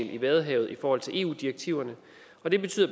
i vadehavet i forhold til i eu direktiverne og det betyder